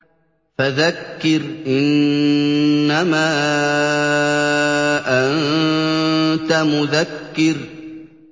فَذَكِّرْ إِنَّمَا أَنتَ مُذَكِّرٌ